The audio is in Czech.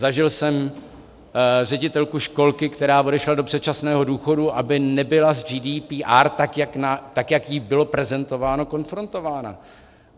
Zažil jsem ředitelku školky, která odešla do předčasného důchodu, aby nebyla s GDPR, tak jak jí bylo prezentováno, konfrontována.